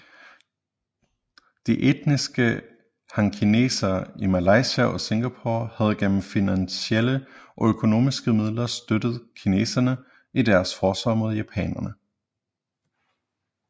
De etniske hankinesere i Malaysia og Singapore havde gennem finansielle og økonomiske midler støttet kineserne i deres forsvar mod japanerne